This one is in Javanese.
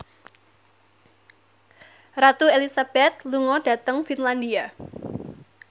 Ratu Elizabeth lunga dhateng Finlandia